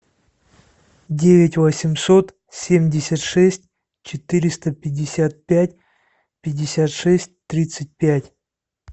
девять восемьсот семьдесят шесть четыреста пятьдесят пять пятьдесят шесть тридцать пять